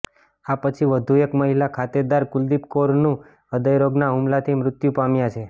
આ પછી વધુ એક મહિલા ખાતેદાર કુલદીપ કૌરનું હૃદયરોગના હુમલાથી મૃત્યુ પામ્યા છે